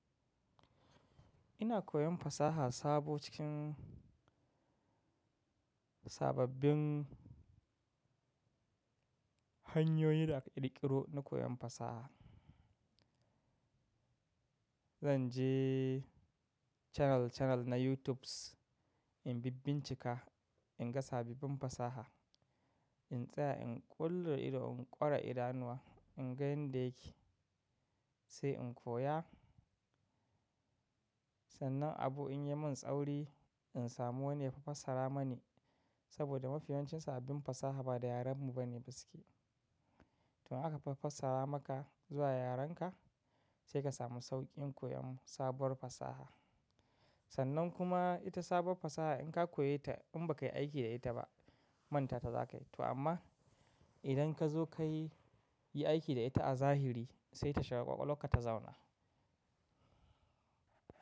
Ina koyon fasaha sabo cikin sababbin hanyoyi da aka ƙiro na koyon fasaha. Zan je channel channel na YouTubes in bibbincika, in ga sababbin fasaha, in tsaya in ƙullo ido, in ƙora idanuwa, in ga yanda yake sai in koya. Sannan abu in ye mun tsauri, in samu wani ya fafassara mani saboda mafi yawancin sababbin fasaha ba da yaren mu ba ne suke. To in aka fafassara maka zuwa yarenka sai ka samu sauƙin koyon sabuwar fasaha. Sannan kuma ita sabuwar fasaha in ka koye ta in ba kai aiki da ita ba manta ta za ka yi to amma idan ka zo ka yi aiki da ita a zahiri sai ta shiga ƙwaƙwal warka ta zauna.